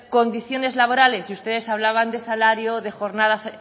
condiciones laborales y ustedes hablaban de salario